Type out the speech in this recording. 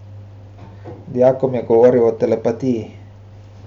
Dijakom je govoril o telepatiji.